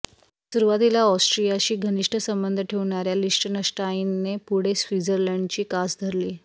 सुरुवातीला ऑस्ट्रियाशी घनिष्ठ संबंध ठेवणाऱ्या लिश्टनश्टाइनने पुढे स्वित्र्झलडची कास धरली